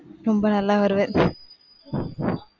ரொம்ப நல்லா வருவ.